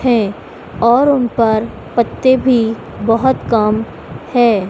है और उन पर पत्ते भी बहोत कम है।